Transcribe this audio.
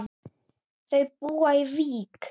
Þau búa í Vík.